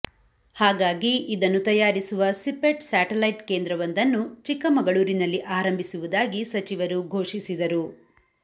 ಹಾಗಾಗಿ ಇದನ್ನು ತಯಾರಿಸುವ ಸಿಪೆಟ್ ಸ್ಯಾಟಲೈಟ್ ಕೇಂದ್ರವೊಂದನ್ನು ಚಿಕ್ಕಮಗಳೂರಿನಲ್ಲಿ ಆರಂಭಿಸುವುದಾಗಿ ಸಚಿವರು ಘೋಷಿಸಿದರು